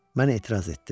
Mən etiraz etdim.